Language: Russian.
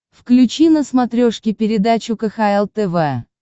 включи на смотрешке передачу кхл тв